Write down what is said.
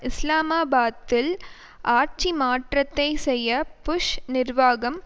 இஸ்லாமாபாத்தில் ஆட்சி மாற்றத்தை செய்ய புஷ் நிர்வாகம்